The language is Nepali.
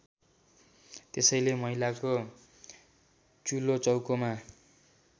त्यसैले महिलाको चुलोचौकोमा